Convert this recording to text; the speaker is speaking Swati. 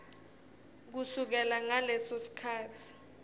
kusukela ngaleso sikhatsi